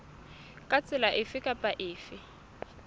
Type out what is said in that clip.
ka tsela efe kapa efe